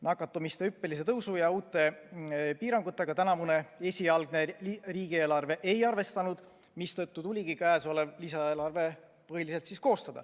Nakatumise hüppelise tõusu ja uute piirangutega tänavune esialgne riigieelarve ei arvestanud, mistõttu tuligi koostada käesolev lisaeelarve.